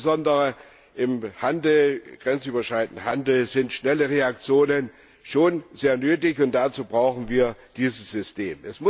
Denn insbesondere im grenzüberschreitenden Handel sind schnelle Reaktionen schon sehr nötig, und dazu brauchen wir dieses System.